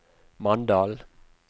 Mandal